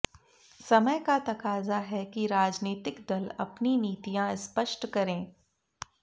समय का तकाजा है कि राजनीतिक दल अपनी नीतियां स्पष्ट करें